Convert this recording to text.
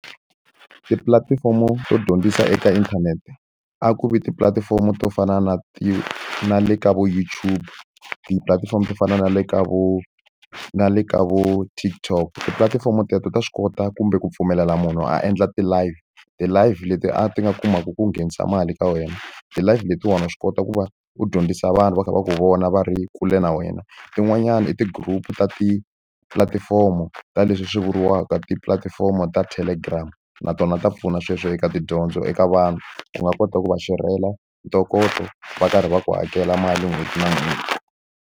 Tipulatifomo to dyondzisa eka inthanete, a ku vi tipulatifomo to fana na ti na le ka vo YouTube. Tipulatifomo to fana na le ka vo na le ka vo TikTok. Tipulatifomo teto ta swi kota kumbe ku pfumelela munhu a endla ti-live, ti-live leti a ti nga kumaka ku nghenisa mali eka wena. Ti-live letiwani wa swi kota ku va u dyondzisa vanhu va kha va ka vona va ri kule na wena, tin'wanyani i ti-group ta tipulatifomo ta leswi swi vuriwaka tipulatifomo ta Telegram. Na tona ta pfuna sweswo eka tidyondzo eka vanhu, u nga kota ku va xerhela ntokoto va karhi va ku hakela mali n'hweti na n'hweti.